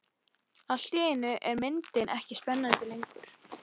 Allt í einu er myndin ekki spennandi lengur.